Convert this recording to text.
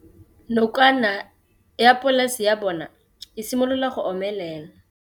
Nokana ya polase ya bona, e simolola go omelela.